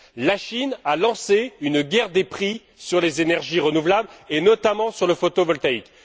La Chine a lancé une guerre des prix sur les énergies renouvelables, et notamment sur le photovoltaïque.